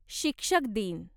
शिक्षक दिन